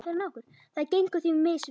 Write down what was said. Það gengur því misvel.